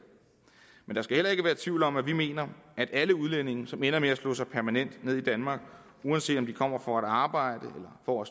men der skal heller ikke være tvivl om at vi mener at alle udlændinge som ender med at slå sig permanent ned i danmark uanset om de kommer for at arbejde eller for